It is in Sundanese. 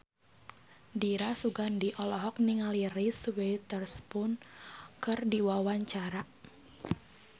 Dira Sugandi olohok ningali Reese Witherspoon keur diwawancara